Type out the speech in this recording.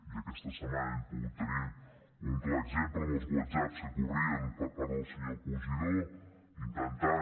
i aquesta setmana hem pogut tenir un clar exemple amb els whatsapps que corrien per part del senyor cosidó intentant